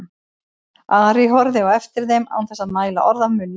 Ari horfði á eftir þeim án þess að mæla orð af munni.